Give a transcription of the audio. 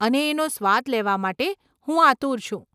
અને એનો સ્વાદ લેવા માટે હું આતુર છું.